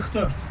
44.